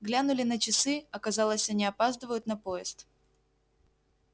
глянули на часы оказалось они опаздывают на поезд